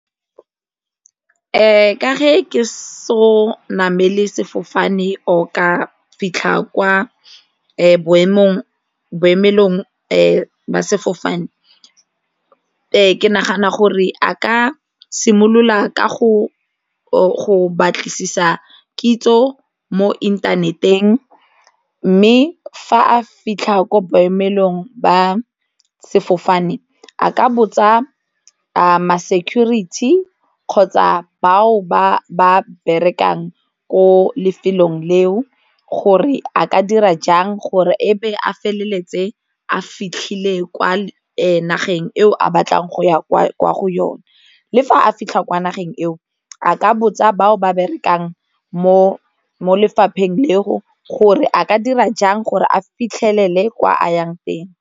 ka ke so namele sefofane o ka fitlha kwa boemelong jwa sefofane ke nagana gore a ka simolola ka go batlisisa kitso mo inthaneteng mme fa a fitlha ko boemelong ba sefofane a ka botsa ma-security kgotsa bao ba ba berekang ko lefelong leo gore a ka dira jang gore e be a feleletse a fitlhile kwa nageng eo a batlang go ya kwa go yone, le fa a fitlha kwa nageng eo a ka botsa batho ba berekang mo mo lefapheng leo gore a ka dira jang gore a fitlhelele kwa a yang teng.